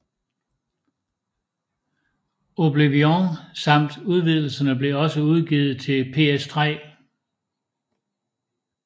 Oblivion samt udvidelserne blev også udgivet til PS3